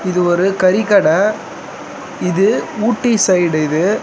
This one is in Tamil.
இது ஒரு கறிக்கட. இது ஊட்டி சைடு இது.